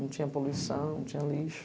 Não tinha poluição, não tinha lixo.